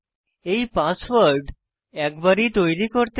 এই পাসওয়ার্ড একবারই তৈরী করতে হবে